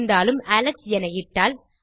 இருந்தாலும் அலெக்ஸ் என இட்டால்